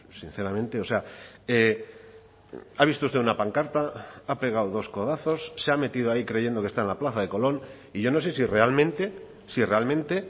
sinceramente o sea ha visto usted una pancarta ha pegado dos codazos se ha metido ahí creyendo que está en la plaza de colón y yo no sé si realmente si realmente